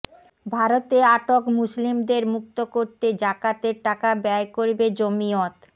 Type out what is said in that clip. ভারতে আটক মুসলিমদের মুক্ত করতে জাকাতের টাকা ব্যয় করবে জমিয়ত